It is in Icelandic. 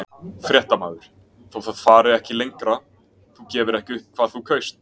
Fréttamaður: Þó það fari ekki lengra, þú gefur ekki upp hvað þú kaust?